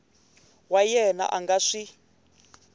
wa yena a nga swi